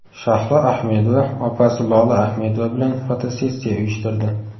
Shahlo Ahmedova opasi Lola Ahmedova bilan fotosessiya uyushtirdi.